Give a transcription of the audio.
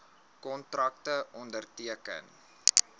kontrakte onderteken